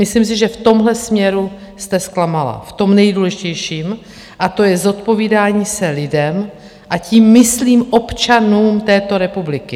Myslím si, že v tomhle směru jste zklamala v tom nejdůležitějším, a to je zodpovídání se lidem a tím myslím občanům této republiky.